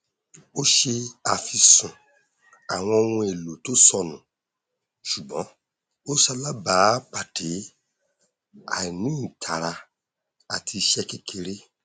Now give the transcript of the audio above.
ó ṣe àfisùn àwọn ohun èlò tó sọnù ṣùgbọn ó salábàápàdé àìní ìtara àti ìṣe kékeré